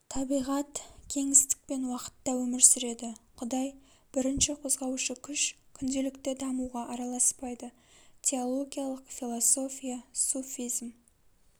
табиғат кеңістік пен уақытта өмір сүреді құдай бірінші қозғаушы күш күнделікті дамуға араласпайды теологиялық философия суфизм